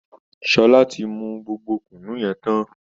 Sọlá ti mu gbogbo Kùnú yẹn tán